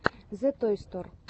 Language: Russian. зэтойстор